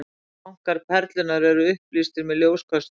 Tankar Perlunnar eru upplýstir með ljóskösturum.